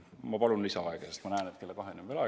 Ma palun lisaaega, sest ma näen, et kella kaheni on veel aega.